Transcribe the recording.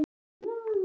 Mér var orðið kalt.